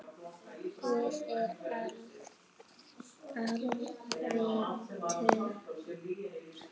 Guð er alvitur